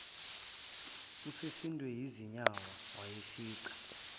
usesindwe yizinyawo wayifica